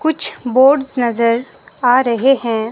कुछ बोर्ड्स नजर आ रहे हैं।